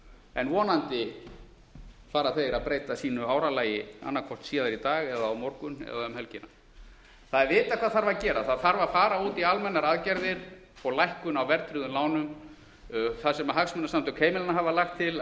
en vonandi fara þeir að breyta sínu áralagi annað hvort síðar í dag eða á morgun eða um helgina það er vitað hvað þarf að gera það þarf að fara út í almennar aðgerðir og lækkun á verðtryggðum lánum þar sem hagsmunasamtök heimilanna hafa lagt til